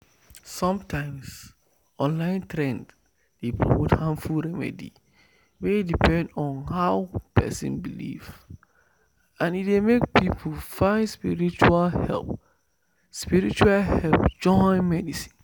sometimes online trend dey promote harmful remedy wey depend on how person believe and e dey make people find spiritual help spiritual help join medicine."